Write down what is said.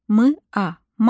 M a ma.